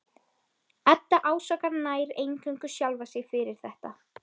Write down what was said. Edda ásakar nær eingöngu sjálfa sig fyrir þetta.